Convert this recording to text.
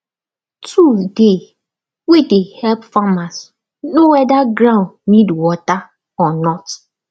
tool dey wey de help farmers know wether ground need water or not